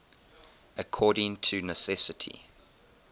according to necessity